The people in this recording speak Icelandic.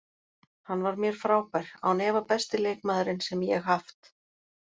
Hann var mér frábær, án efa besti leikmaðurinn sem ég haft.